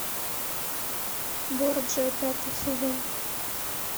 борджиа пятый сезон